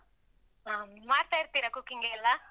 ಆ ಮಾಡ್ತಾ ಇರ್ತಿರ cooking ಗೆಲ್ಲ?